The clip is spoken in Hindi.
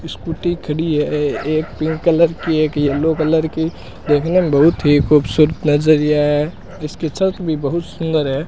स्कूटी खड़ी है एक पिंक कलर की एक येलो कलर की ये कलर बहुत ही खूबसूरत नजरिया है इसके चर्क भी बहुत सुंदर है।